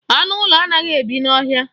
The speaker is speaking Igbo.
Anụ ụlọ anaghị ebi n'ọhịa